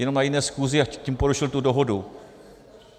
Jenom na jiné schůzi, a tím porušil tu dohodu.